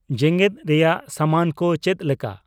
ᱡᱮᱜᱮᱫ ᱨᱮᱭᱟᱜ ᱥᱟᱢᱟᱱ ᱠᱚ ᱪᱮᱫ ᱞᱮᱠᱟ